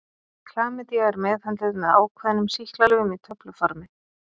Klamydía er meðhöndluð með ákveðnum sýklalyfjum í töfluformi.